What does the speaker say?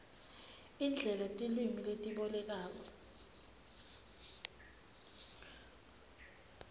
indlela tilwimi letibolekana